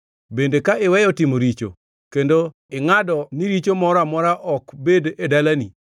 bende ka iweyo timo richo kendo ingʼado ni richo moro amora ok bed e dalani,